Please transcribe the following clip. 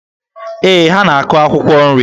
Ee, ha na-akụ akwụkwọ nri.